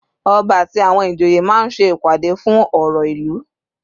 Ọba àti àwọn ìjòyè máa ń ṣe ìpàdé fún ọ̀rọ̀ ìlú.